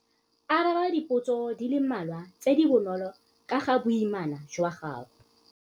Araba dipotso di le mmalwa tse di bonolo ka ga boimana jwa gago.